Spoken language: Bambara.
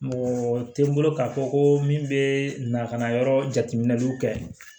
Mɔgɔ tɛ n bolo k'a fɔ ko min bɛ na ka na yɔrɔ jatiminɛw kɛ